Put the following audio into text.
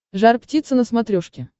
жар птица на смотрешке